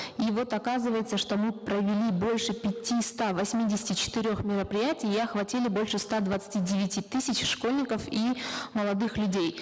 и вот оказывается что мы провели больше восьмидесяти четырех мероприятий и охватили больше ста двадцати девяти тысяч школьников и молодых людей